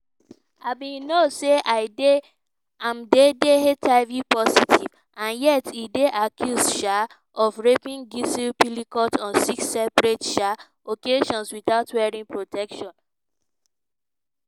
im bin know say im dey dey hiv-positive and yet e dey accused um of raping gisèle pelicot on six separate um occasions without wearing protection.